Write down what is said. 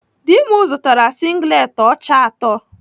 Dị m zụtara singlet ọcha atọ.